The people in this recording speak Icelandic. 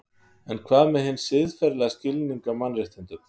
En hvað með hinn siðferðilega skilning á mannréttindum?